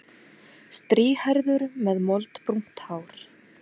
Strýhærður með moldbrúnt hár.